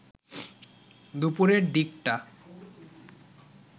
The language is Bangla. দুপুরের দিকটা